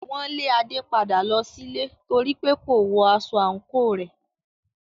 Wọn lé Ade padà lọ sílé nítorípé kò wọ aṣọ àǹkóò rẹ̀.